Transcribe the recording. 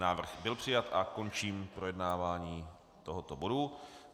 Návrh byl přijat a končím projednávání tohoto bodu.